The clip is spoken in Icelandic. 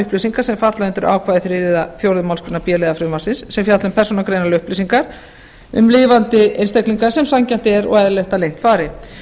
upplýsingar sem falla undir ákvæði þriðju eða fjórðu málsgrein b liðar frumvarpsins sem fjalla um persónugreinanlegar upplýsingar um lifandi einstaklinga sem sanngjarnt er og eðlilegt að leynt fari